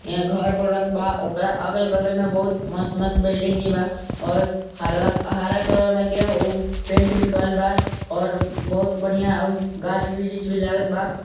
यहाँ घर बनत बा ओकरा अगल-बगल मे बहुत मस्त-मस्त बिल्डिंग भी बा और हरा कलर में के और पेंट भी करल बा और बहुत बढ़िया ऊ गाछ वृक्ष भी लागत बा।